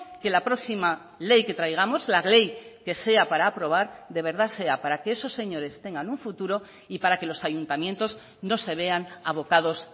que la próxima ley que traigamos la ley que sea para aprobar de verdad sea para que esos señores tengan un futuro y para que los ayuntamientos no se vean abocados